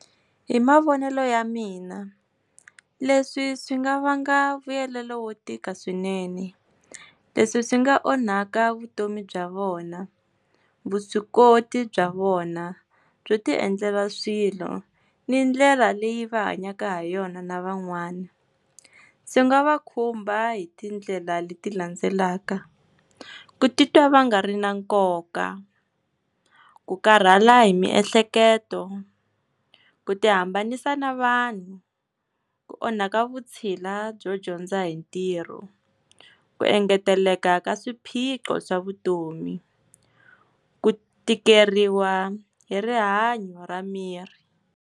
Hi mavonelo ya mina leswi swi nga vanga vuyelelo wo tika swinene, leswi swi nga onha ka vutomi bya vona, vuswikoti bya vona byo ti endlela swilo, ni ndlela leyi va hanyaka ha yona na van'wana. Swi nga va khumba hi tindlela leti landzelaka, ku titwa va nga ri na nkoka, ku karhala hi miehleketo, ku ti hambanisa na vanhu, ku onha ka vutshila byo dyondza hi ntirho, ku engeteleka ka swiphiqo swa vutomi ku tikeriwa hi rihanyo ra miri.